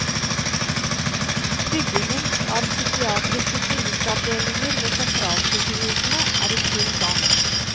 Byggingen av psykiatriske klinikkavdelinger ved sentralsykhusene er i full gang.